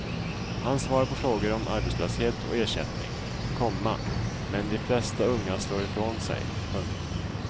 Han svarar på frågor om arbetslöshet och ersättning, komma men de flesta unga slår ifrån sig. punkt